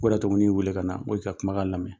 O de y'ato in ɲin wele ka na n ko i ka kuma kan lamɛn.